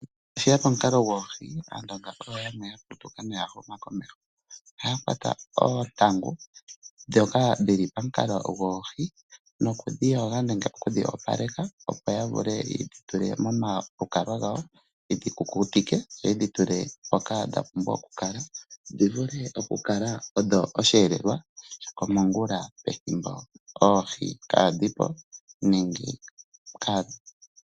Ngele tashiya komukalo goohi, Aandonga oyo yeli ya putuka noya huma komeho. Ohaya kwata oongaku ndhoka dhili pomukalo goohi, nokudhi yoga nenge okudhi opaleka, opo ya vule yedhi tule momalukalwa gawo yedhi kukutike noye dhi tule mpoka dha pumbwa oku kala, dhi vule oku kala odho osheelelwa shokomongula pethimbo oohi kaadhi po.